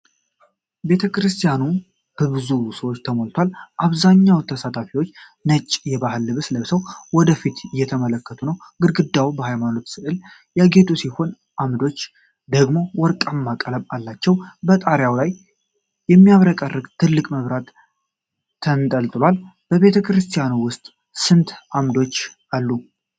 ቤተክርስቲያኑ በብዙ ሰዎች ተሞልቷል። አብዛኛዎቹ ተሳታፊዎች ነጭ የባህል ልብስ ለብሰው ወደፊት እየተመለከቱ ነው። ግድግዳዎቹ በሃይማኖታዊ ሥዕሎች ያጌጡ ሲሆኑ፣ አምዶች ደግሞ ወርቃማ ቀለም አላቸው። በጣሪያው ላይ የሚያብረቀርቅ ትልቅ መብራት ተንጠልጥሏል። በቤተክርስቲያኑ ውስጥ ስንት አምዶች አሉ?